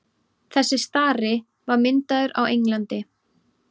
þessi stari var myndaður á englandi